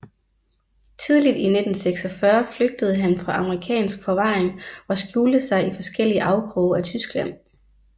Tidligt i 1946 flygtede han fra amerikansk forvaring og skjulte sig i forskellige afkroge af Tyskland